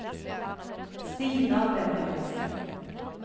Stina Benjaminsen